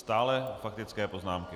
Stále faktické poznámky.